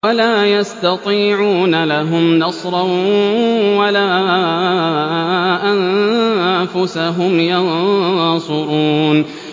وَلَا يَسْتَطِيعُونَ لَهُمْ نَصْرًا وَلَا أَنفُسَهُمْ يَنصُرُونَ